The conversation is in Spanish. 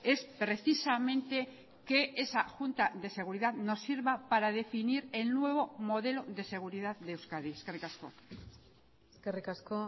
es precisamente que esa junta de seguridad nos sirva para definir el nuevo modelo de seguridad de euskadi eskerrik asko eskerrik asko